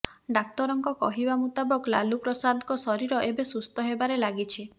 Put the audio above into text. ଡାକ୍ଟରଙ୍କ କହିବା ମୁତାବକ ଲାଲୁ ପ୍ରସାଦଙ୍କ ଶରୀର ଏବେ ସୁସ୍ଥ ହେବାରେ ଲାଗିଛି